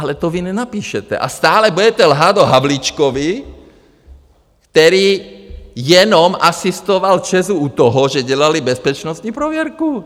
Ale to vy nenapíšete a stále budete lhát o Havlíčkovi, který jenom asistoval ČEZu u toho, že dělali bezpečnostní prověrku!